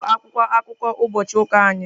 Nke a bụ akwụkwọ akụkọ ụbọchị ụka anyị.